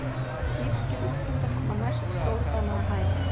Írskir úlfhundar koma næst stórdana að hæð.